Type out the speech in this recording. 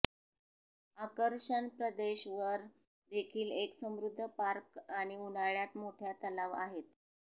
आकर्षण प्रदेश वर देखील एक समृद्ध पार्क आणि उन्हाळ्यात मोठ्या तलाव आहेत